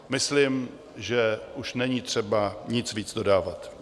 Myslím, že už není třeba nic víc dodávat.